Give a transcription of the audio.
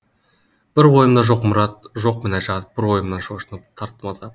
бір ойымда жоқ мұрат жоқ мінәжат бір ойымнан шошынып тарттым азап